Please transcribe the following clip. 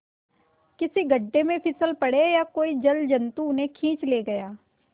किसी गढ़े में फिसल पड़े या कोई जलजंतु उन्हें खींच ले गया